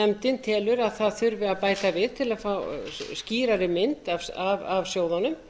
nefndin telur að þurfi að bæta við til að fá skýrari mynd af sjóðunum